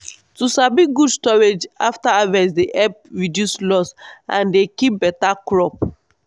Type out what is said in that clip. to sabi good storage after harvest dey help reduce loss and dey keep beta crop.